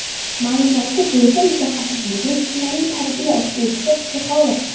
Ma’lumoti bo‘yicha mutaxassisligi jismoniy tarbiya o‘qituvchisi, psixolog.